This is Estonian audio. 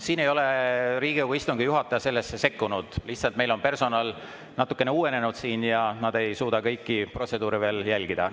Siin ei ole Riigikogu istungi juhataja sellesse sekkunud, lihtsalt meil on personal natukene uuenenud siin ja nad ei suuda kõiki protseduure veel jälgida.